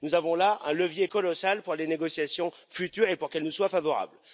nous avons là un levier colossal pour les négociations futures, pour qu'elles nous soient favorables.